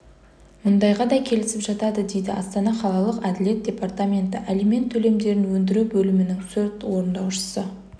мұндайға да келісіп жатады дейді астана қалалық әділет департаменті алимент төлемдерін өндіру бөлімінің сот орындаушысы